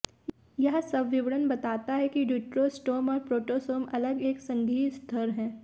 यह सब विवरण बताता है कि ड्यूटरोस्टोम और प्रोटोस्टोम अलग एक संघीय स्तर हैं